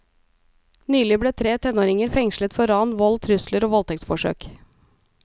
Nylig ble tre tenåringer fengslet for ran, vold, trusler og voldtektsforsøk.